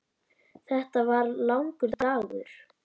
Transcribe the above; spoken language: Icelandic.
Þetta var langur dagur.